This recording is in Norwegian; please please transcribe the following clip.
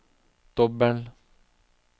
dobbel